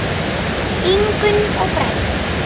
Ingunn og Bragi.